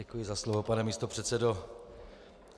Děkuji za slovo, pane místopředsedo.